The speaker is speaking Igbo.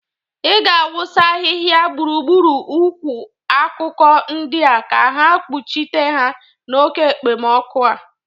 Ị ga-awụsa ahịha gbụrugbụru ukwu akụkụ ndịa ka ha kpuchite ha n'oke ekpemọkụ a.